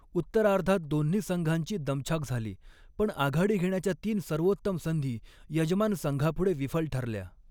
उत्तरार्धात दोन्ही संघांची दमछाक झाली, पण आघाडी घेण्याच्या तीन सर्वोत्तम संधी यजमान संघापुढे विफल ठरल्या.